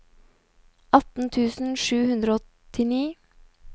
atten tusen sju hundre og åttini